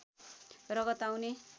रगत आउने